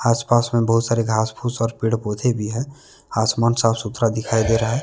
आस पास में बहुत सारे घास फूस और पेड़ पौधे भी है आसमान साफ सुथरा दिखाई दे रहा है।